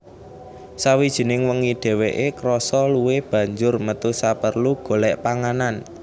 Sawijining wengi dheweke krasa luwe banjur metu saperlu golek panganan